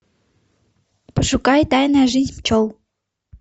пошукай тайная жизнь пчел